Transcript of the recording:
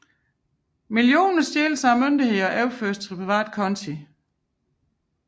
Millioner stjæles af myndighederne og overføres til private konti